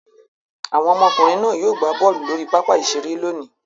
Àwọn ọmọkùnrin náà yóò gbá bọ́ọ́lù lórí pápá-ìṣeré lónìí.